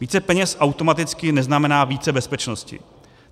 Více peněz automaticky neznamená více bezpečnosti.